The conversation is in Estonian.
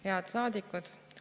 Head saadikud!